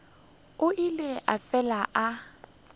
o ile a fela a